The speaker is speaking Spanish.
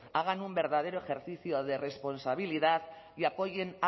hagan un verdadero ejercicio de responsabilidad y apoyen